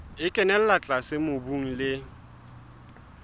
e kenella tlase mobung le